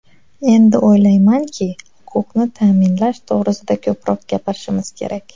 Endi o‘ylaymanki, huquqni ta’minlash to‘g‘risida ko‘proq gapirishimiz kerak.